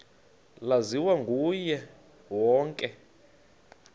laziwa nguye wonke